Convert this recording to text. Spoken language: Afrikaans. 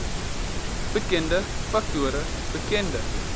bekende faktore bekende